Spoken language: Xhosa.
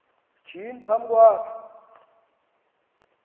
shinyi phambi kwakhe